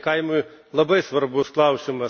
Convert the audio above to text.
Tai kaimui labai svarbus klausimas.